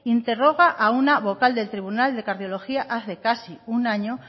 interroga a una vocal del tribunal de cardiología hace casi un año